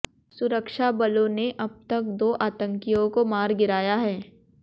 सुरक्षाबलों ने अब तक दो आतंकियों को मार गिराया है